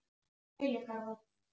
Knútur, hvað er að frétta?